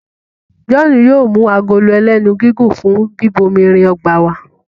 John yóò mú Agolo ẹlẹ́nu gígùn fún bíbomirin ọgbà wá.